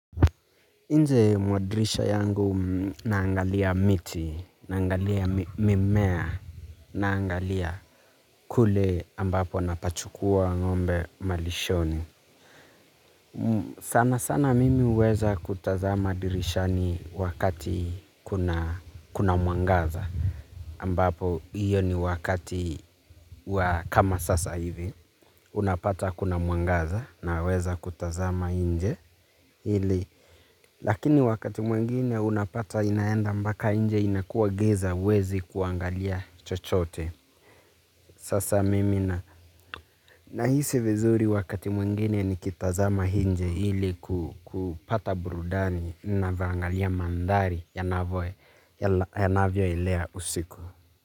Nje mwa dirisha yangu naangalia miti, naangalia mimea, naangalia kule ambapo napachukua ng'ombe malishoni. Sana sana mimi uweza kutazama dirishani wakati kuna mwangaza. Ambapo hiyo ni wakati kama sasa hivi. Unapata kuna mwangaza naweza kutazama nje ili. Lakini wakati mwengine unapata inaenda mbaka nje inakua giza wezi kuangalia chochote. Sasa mimi na nahisi vizuri wakati mwingine nikitazama inje ili kupata burudani navyoangalia mandhari ya navyo elea usiku.